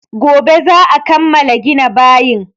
Gobe za a kammala gina bayin.